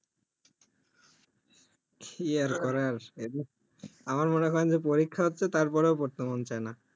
কি আর করার আছে আবার যে মনে করেন পরীক্ষা আছে তাও পড়তে মন চাইনা